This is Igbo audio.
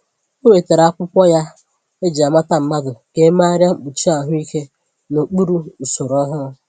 O wetara akwụkwọ ya eji-amata mmadụ ka e meegharia mkpuchi ahụike n’okpuru usoro ọhụrụ.